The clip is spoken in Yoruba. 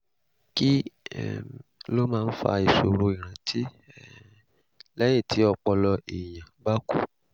kí um ló máa ń fa ìṣòro ìrántí um lẹ́yìn tí ọpọlọ èèyàn bá kú?